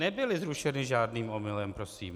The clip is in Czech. Nebyly zrušeny žádným omylem prosím.